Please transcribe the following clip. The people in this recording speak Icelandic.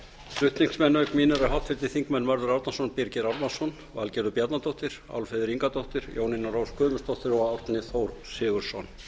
flutningsmenn auk mín eru háttvirtir þingmenn mörður árnason birgir ármannsson valgerður bjarnadóttir álfheiður ingadóttir jónína rós guðmundsdóttir og árni þór sigurðsson